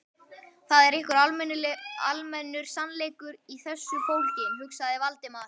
Það var einhver almennur sannleikur í þessu fólginn, hugsaði Valdimar.